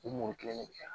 U mɔkɛ de yan